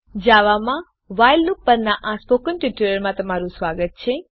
જાવામાં while loop પરના spoken ટ્યુટોરીયલમાં તમારું સ્વાગત છે